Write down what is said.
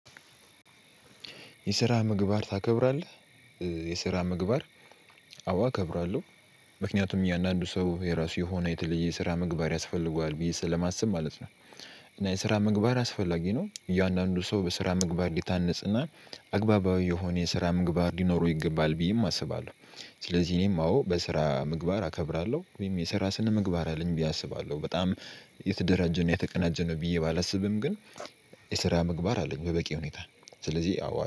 የስራ ምግባር ታከብራለህ? የስራ ምግባር አዎ አከብራለሁ ምክንያቱም እያንዳንዱ ሰው የራሱ የሆነ የተለየ ስራ ምግባር ያስፈልገዋል ብዬ ስለማስብ ማለት ነው። እና የስራ ምግባር አስፈላጊ ነው እያንዳንዱ ሰው በስራ ምግባር ሊታነጽና አግባባዊ የሆነ የስራ ምግባር ሊኖሩ ይገባል ብዬም አስባለሁ። ስለዚህ እኔም አዎ በስራ ምግባር አከብራለሁ ወይም የስራ ስነ ምግባር አለኝ ብዬ አስባለሁ። በጣም የተደራጀ እና የተቀናጀ ነው ብዬ ባላስብም ግን። የስራ ምግባር አለኝ በበቂ ሁኔታ ስለዚህ አዎ